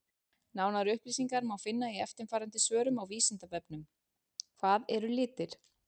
Nánari upplýsingar má finna í eftirfarandi svörum á Vísindavefnum: Hvað eru litir?